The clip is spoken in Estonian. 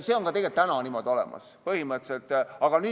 See on tegelikult ka praegu põhimõtteliselt niimoodi.